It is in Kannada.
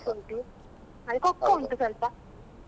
ಉಂಟು ಮತ್ತೆ coco ಉಂಟು ಸ್ವಲ್ಪ.